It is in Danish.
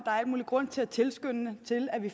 er al mulig grund til at tilskynde til at vi